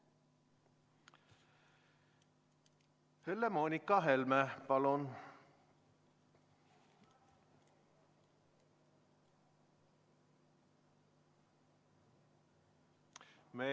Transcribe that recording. Helle-Moonika Helme, palun!